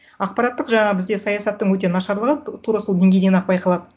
ақпараттық жаңағы бізде саясаттың өте нашарлығы тура сол деңгейден ақ байқалады